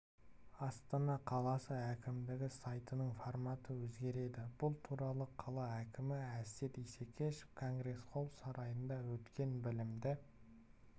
астана қаласы әкімдігі сайтының форматы өзгереді бұл туралы қала әкімі әсет исекешев конгресс-холл сарайында өткен білімді